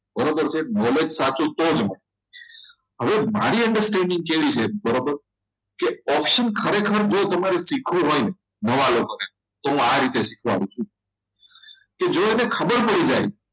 બરાબર છે knowledge સાચું તો જ મળે હવે મારી understanding કેવી છે બરાબર કે ઓક્સી ખરેખર તમારે જો શીખવું હોય ને નવા લોકોને તો આ રીતે શીખવાડું છું જો એને ખબર પડી જાય